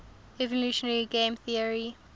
evolutionary game theory